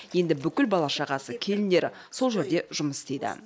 енді бүкіл бала шағасы келіндері сол жерде жұмыс істейді